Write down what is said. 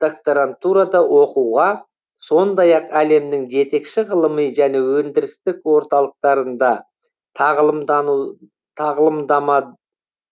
докторантурада оқуға сондай ақ әлемнің жетекші ғылыми және өндірістік орталықтарында тағылымдама